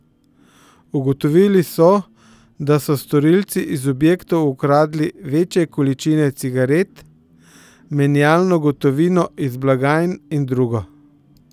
Ugotovili so, da so storilci iz objektov ukradli večje količine cigaret, menjalno gotovino iz blagajn in drugo.